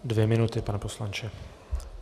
Dvě minuty, pane poslanče.